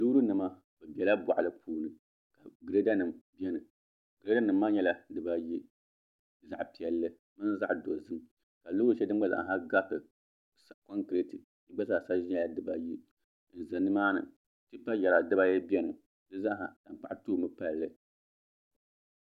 loorinima bɛ bela bɔɣili puuni gireedanima beni gireedanima maa nyɛla dibaayi zaɣ'piɛlli mini zaɣ'dozim ka loori shɛli gba zaaha gariti kɔnkireenti di gba zaasa nyɛla dibaayi n-za nimaani tipayari dibaayi beni di zaaha tankpaɣu toomi palli